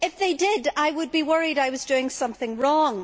If they did, I would be worried I was doing something wrong'.